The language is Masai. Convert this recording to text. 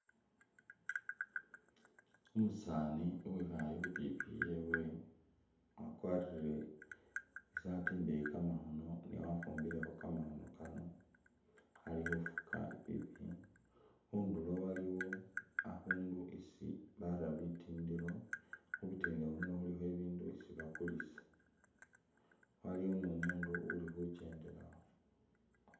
Umusaani uwikhale khu pikipiki yewe wakwarire isaati indeyi kamakhono ne wafumbilekho kamakhono kano, ali khufuga i'pikipiki ,khundulo aliwo akhundu isi bara bitindilo ,khubitindilo khuno khulikho ibindu isi bakulisa ,waliwo ni umundu uli khukyendelawo